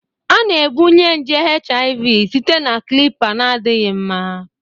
A na-ebunye nje HIV site na clipper na-adịghị mma